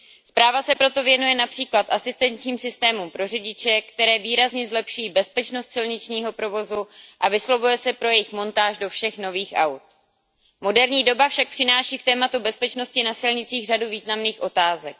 Zpráva se proto věnuje například asistenčním systémům pro řidiče, které výrazně zlepší bezpečnost silničního provozu, a vyslovuje se pro jejich montáž do všech nových aut. Moderní doba však přináší k tématu bezpečnosti na silnicích řadu významných otázek.